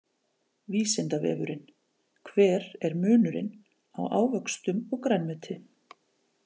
Vísindavefurinn: Hver er munurinn á ávöxtum og grænmeti?